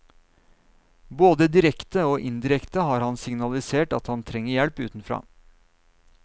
Både direkte og indirekte har han signalisert at han trenger hjelp utenfra.